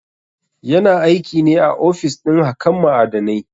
Yana aikine a ofis ɗin hakan ma'adanai.